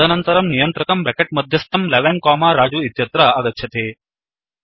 तदनन्तरं नियन्त्रकं ब्रेकेट् मध्यस्थं 11 कोमा रजु इत्यत्र आगच्छति